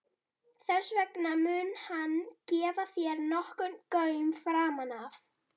Þess vegna mun hann gefa þér nokkurn gaum framan af.